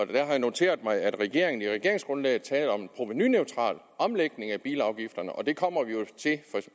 det jeg har noteret mig at regeringen jo i regeringsgrundlaget taler om en provenuneutral omlægning af bilafgifterne og det kommer